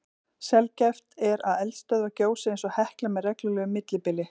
Sjaldgæft er að eldstöðvar gjósi eins og Hekla með reglulegu millibili.